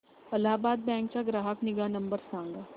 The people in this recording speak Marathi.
अलाहाबाद बँक चा ग्राहक निगा नंबर सांगा